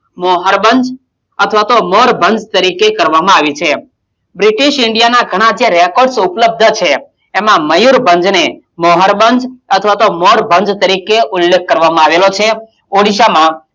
મોહરભંજ અથવા તો મોરભંજ તરીકે કરવામાં આવી છે british india ના ઘણા જે records ઉપલબ્ધ છે એમાં મયુરભંજ ને મોહરભંજ અથવા તો મોરભંજ તરીકે ઉલ્લેખ કરવામાં આવેલો છે. ઓડિશામાં,